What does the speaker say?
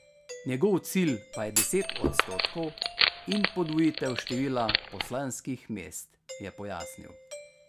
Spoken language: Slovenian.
Njegov cilj pa je deset odstotkov in podvojitev števila poslanskih mest, je pojasnil.